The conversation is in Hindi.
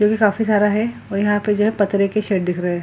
जो की काफी सारा है और यहां पे पत्थरे के शेड दिख रहे है।